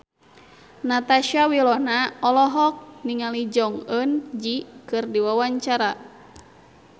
Natasha Wilona olohok ningali Jong Eun Ji keur diwawancara